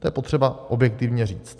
To je potřeba objektivně říct.